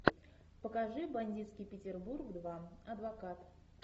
покажи бандитский петербург два адвокат